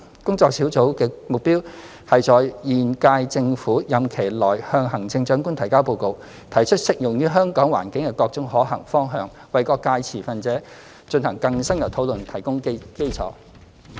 工作小組的目標是在現屆政府任期內向行政長官提交報告，提出適用於香港環境的各種可行方向，為各界持份者進行更深入討論提供基礎。